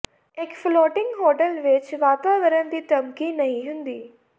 ਇੱਕ floating hotel ਵਿੱਚ ਵਾਤਾਵਰਨ ਦੀ ਧਮਕੀ ਨਹੀਂ ਹੁੰਦੀ